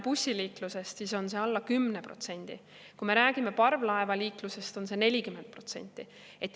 Bussiliikluse puhul on see alla 10% ja parvlaevaliikluse puhul on see 40%.